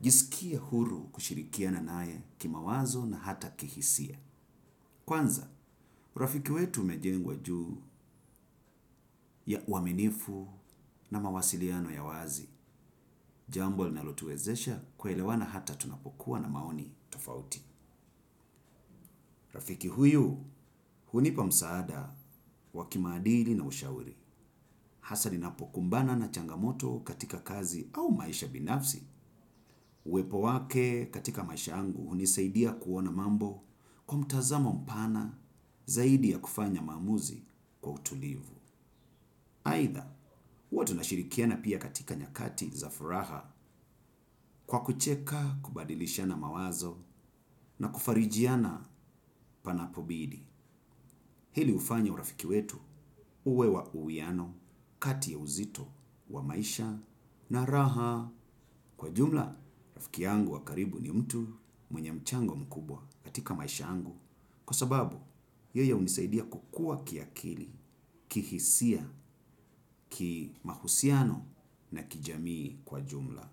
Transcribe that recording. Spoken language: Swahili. jisikia huru kushirikiana nae ki mawazo na hata kihisia. Kwanza, urafiki wetu umejengwa juu ya uaminifu na mawasiliano ya wazi, jambo lina lotuwezesha kuelewana hata tunapokuwa na maoni tofauti. Rafiki huyu hunipa msaada wa kimadili na ushauri. Hasa ninapo kumbana na changamoto katika kazi au maisha binafsi. Uwepo wake katika maisha yangu hunisaidia kuona mambo kwa mtazamo mpana zaidi ya kufanya maamuzi kwa utulivu. Aidha, huwa tunashirikiana pia katika nyakati za furaha kwa kucheka kubadilishana mawazo na kufarijiana panapobidi. Hili hufanya urafiki wetu uwe wa uwiano, kati ya uzito, wa maisha na raha. Kwa jumla, rafiki yangu wa karibu ni mtu mwenye mchango mkubwa katika maisha yangu. Kwa sababu, yeye hunisaidia kukua kiakili, kihisia, ki mahusiano na kijamii kwa jumla.